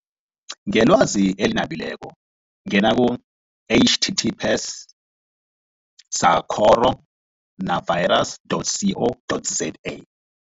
Ngelwazi eli nabileko ngena ku-H T T P S sacoro navirus dot C O dot Z A.